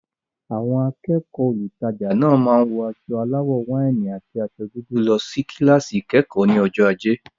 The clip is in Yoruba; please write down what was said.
Àwọn akẹ́kọ̀ọ́ olùtajà náà máa wọ aṣọ aláwọ̀ wáìnì àti aṣọ dúdú lọ sí kíláàsì ìkẹ́kọ̀ọ́ ní ọjọ́ ajé.